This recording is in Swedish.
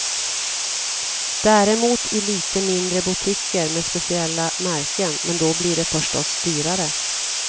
Däremot i lite mindre boutiquer med speciella märken, men då blir det förstås dyrare.